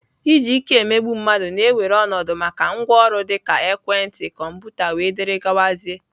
Iji ike emegbu mmadụ na-ewere ọnọdụ maka ngwaọrụ dịka ekwentị, kọmputa wdg